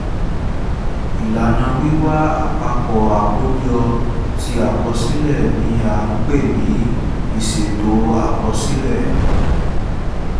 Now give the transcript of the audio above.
ìlànà wíwá àpapọ̀ àkójọ ti àkọsílẹ̀ ni a pè ní ìṣètò àkọsílẹ̀